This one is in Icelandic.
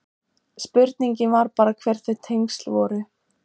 Spurningin var bara hver þau tengsl voru.